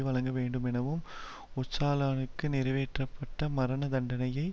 வழங்க வேண்டுமெனவும் ஓச்சாலானுக்கு நிறைவேற்றப்பட்ட மரண தண்டனையை